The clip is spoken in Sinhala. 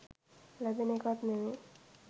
ලැබෙන එකක් නෙවෙයි.